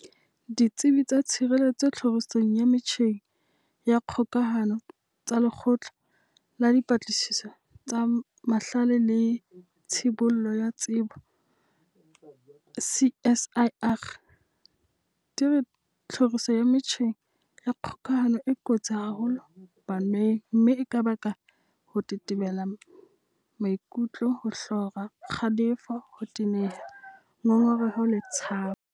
Ditsebi tsa tshireletso tlhorisong ya metjheng ya kgokahano tsa Lekgotla la Dipatlisiso tsa Mahlale le Tshibollo ya Tsebo, CSIR, di re tlhoriso ya metjheng ya kgokahano e kotsi haholo baneng mme e ka baka ho tetebela maikutlo, ho hlora, kgalefo, ho teneha, ngongereho le tshabo.